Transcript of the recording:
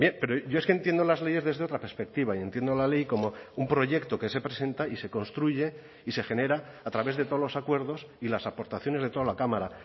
pero yo es que entiendo las leyes desde otra perspectiva y entiendo la ley como un proyecto que se presenta y se construye y se genera a través de todos los acuerdos y las aportaciones de toda la cámara